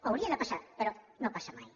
hauria de passar però no passa mai